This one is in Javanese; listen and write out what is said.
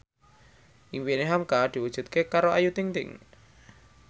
impine hamka diwujudke karo Ayu Ting ting